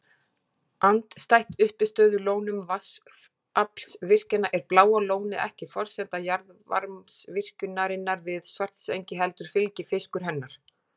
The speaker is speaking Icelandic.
Andstætt uppistöðulónum vatnsaflsvirkjana er Bláa lónið ekki forsenda jarðvarmavirkjunarinnar við Svartsengi heldur fylgifiskur hennar.